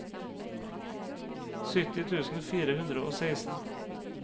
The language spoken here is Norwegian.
sytti tusen fire hundre og seksten